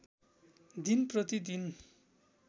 दिन प्रतिदिन